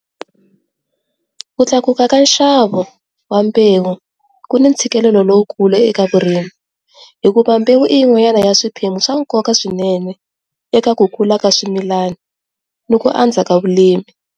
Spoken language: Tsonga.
Ku tlakuka ka nxavo wa mbewu ku ni ntshikelelo lowukulu eka vurimi hikuva mbewu i yin'wanyana ya swiphemu swa nkoka swinene eka ku kula ka swimilani ni ku andza ka vurimi.